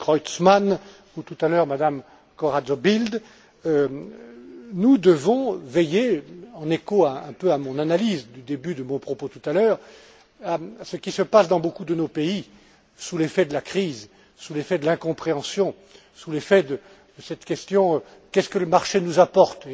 Creutzmann ou tout à l'heure Mme Corazza Bildt, nous devons veiller, en écho en quelque sorte à mon analyse du début de mon propos tout à l'heure, à ce qui se passe dans beaucoup de nos pays sous l'effet de la crise, sous l'effet de l'incompréhension, sous l'effet de cette question Qu'est ce que le marché nous apporte?